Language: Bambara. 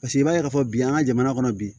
Paseke i b'a ye k'a fɔ bi an ka jamana kɔnɔ bi